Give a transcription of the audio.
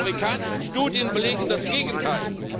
Die amerikanischen Studien belegen das Gegenteil.